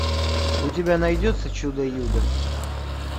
у тебя найдется чудо юдо